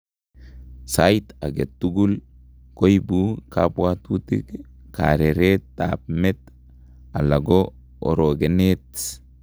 Saait age tugul koobu kabwatutik, kareret ab met alako orogeneet